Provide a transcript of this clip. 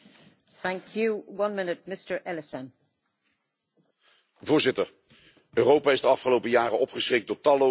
Voorzitter, Europa is de afgelopen jaren opgeschrikt door talloze door de islam geïnspireerde en gelegitimeerde terroristische aanslagen.